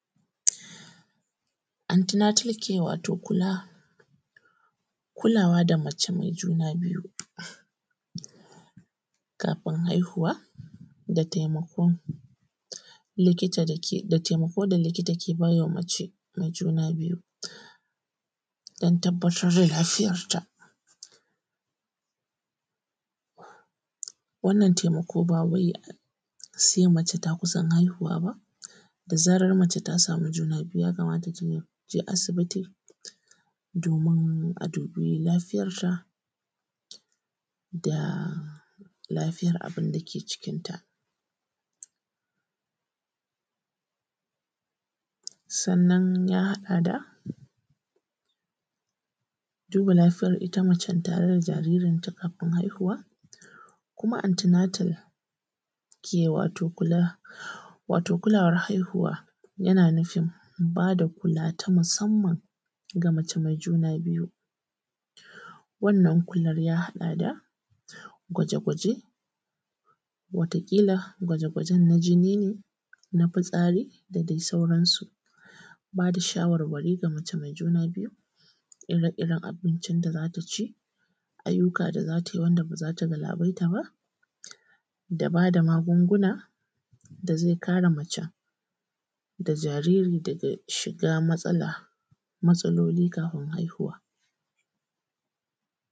Anti Nantal Kea, wato kulawa da mace mai juna biyu, kafin haihuwa, da taimakon da likita ke baiwa mace mai juna biyu dan tabattar da lafiyanta. Wannan taimako bawai sai mace ta kusan haihuwa ba; da zarar mace ta samu juna biyu, yakamata ta je asibiti domin a dubi lafiyarta da lafiyar abun dake cikinta. Sannan ya haɗa da duba lafiyar ita mace tare da jaririnta kafin haihuwa. Antinatal Keya, wato kulawar haihuwa, yana nufin ba da kula ta musamman ga mace mai juna biyu. Wannan kular ya haɗa da gwaje-gwaje; watakila gwaje-gwaje na jini ne ko na fitsari ne, da dai sauransu; ba da shawarari ga mace mai juna biyu, ire-iren abincin da za ta ci, ayyuka da za ta yi wanda ba za ta galabaita ba; da ba da magunguna da zai kare mace da jaririn daga shiga matsaloli kafin haihuwa.